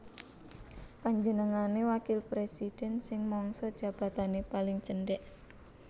Panjenengane wakil presiden sing mangsa jabatane paling cendek